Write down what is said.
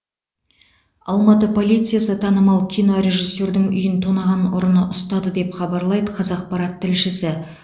алматы полициясы танымал кинорежиссердің үйін тонаған ұрыны ұстады деп хабарлайды қазақпарат тілшісі